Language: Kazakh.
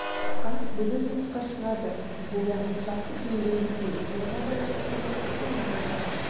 шықаң бүгін жұмысқа шығады боян жақсы киімдеріңді ки тойға бара жатқан жоқпыз ғой мынауың